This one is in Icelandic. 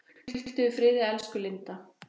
Hvíldu í friði elsku Linda.